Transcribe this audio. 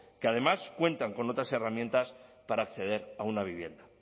que además cuentan con otras herramientas para acceder a una vivienda